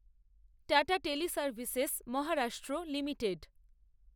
tata Teleservices Maharashtra limited